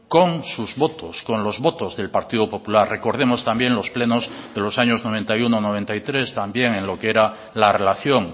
con sus votos con los votos del partido popular recordemos también los plenos de los años noventa y uno noventa y tres también en lo que era la relación